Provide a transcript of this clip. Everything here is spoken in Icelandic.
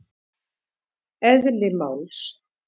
Eðli máls